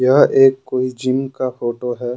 यह एक कोई जिम का फोटो है।